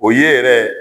O ye yɛrɛ